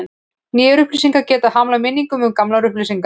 Nýjar upplýsingar geta hamlað minningum um gamlar upplýsingar.